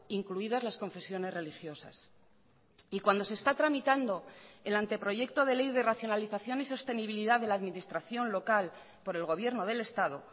incluidas las confesiones religiosas y cuando se está tramitando el anteproyecto de ley de racionalización y sostenibilidad de la administración local por el gobierno del estado